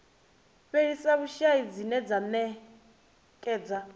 fhelisa vhushai dzine dza ṅekedza